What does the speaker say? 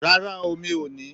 Rara o, mi o ni